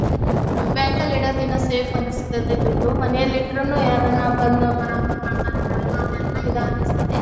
Bank ಲ್ಲಿಡತೊ bank ಅಲ್ಲಿ ಇಡೋದೇನೋ ಸೇಫ್ ಅನ್ನ ಸ್ತ್ಯ ತ್ತೆ ದುಡ್ಡು ಮನೇಲಿಟ್ಟರೆನು ಯಾರನ್ ಬಂದು ಬರೋದು ಕಳ್ಳತ್ತನ ಮಾಡುದು ಅದೆಲ್ಲಾ ಈದ್ ಅನ್ನಸ್ತ್ಯತ್ತಿ .